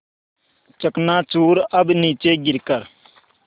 चकनाचूर अब नीचे गिर कर